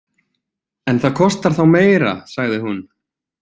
En það kostar þá meira, sagði hún.